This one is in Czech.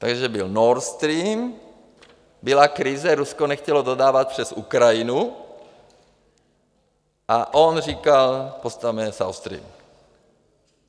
Takže byl Nord Stream, byla krize, Rusko nechtělo dodávat přes Ukrajinu, a on říkal: Postavme South Stream.